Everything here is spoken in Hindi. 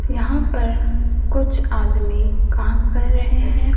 यहां पर कुछ आदमी काम कर रहे है।